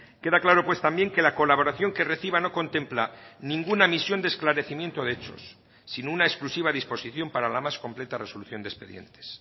queda claro pues también que la colaboración que reciba no contempla ninguna misión de esclarecimiento de hechos sino una exclusiva disposición para la más completa resolución de expedientes